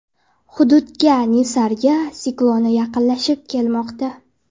Hududga Nisarga sikloni yaqinlashib kelmoqda.